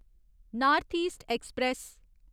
north East express